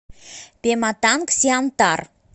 пематангсиантар